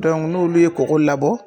n'olu ye kɔkɔ labɔ